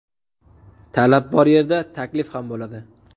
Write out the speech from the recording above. Talab bor yerda – taklif ham bo‘ladi!